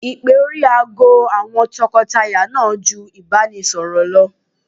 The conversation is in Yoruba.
Ìpè orí aago àwọn tọkọtaya náà ju ìbánisọ̀rọ̀ lọ.